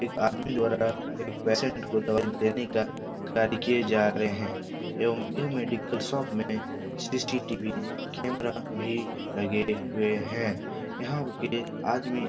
एक आदमी द्वारा एक पेशेंट को दवाई देने का कार्य किए जा रहे हैं एवं यह मेडिकल शॉप में सी.सी.टी.वी. कैमरा भी लगे हुए हैं यहाँ रुके आदमी --